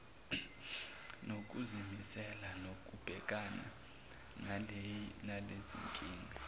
nokuzimisela kokubhekana nalezinkinga